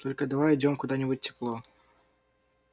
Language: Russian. только давай уйдём куда-нибудь в тепло